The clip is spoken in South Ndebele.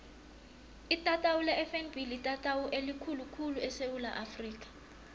itatawu lefnb litatawu elikhulu khulu esewula afrika